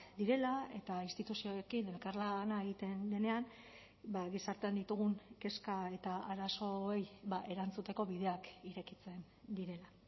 direla eta instituzioekin elkarlana egiten denean gizartean ditugun kezka eta arazoei erantzuteko bideak irekitzen direla